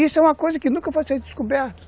Isso é uma coisa que nunca vai será descoberto.